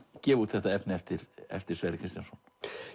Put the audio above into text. gefa út þetta efni eftir eftir Sverri Kristjánsson